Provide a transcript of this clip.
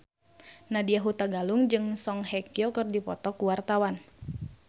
Nadya Hutagalung jeung Song Hye Kyo keur dipoto ku wartawan